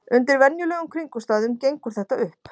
Undir venjulegum kringumstæðum gengur þetta upp.